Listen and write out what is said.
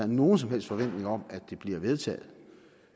nogen som helst forventning om at det bliver vedtaget